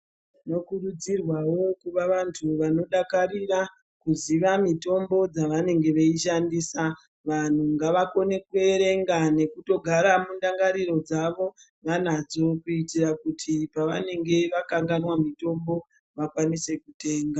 Tinokurudzirwavo kuva vantu vanodakarira kuziva mitombo dzavanenge veishandisa. Vanhu ngavakone kuerenga nekutogara mundangariro dzavo vanadzo kuitira kuti pavanenge vakanganwa mitombo, vakwanise kutenga.